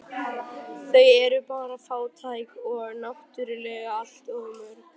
Þau eru bara fátæk og náttúrlega allt of mörg